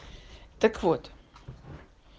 так вот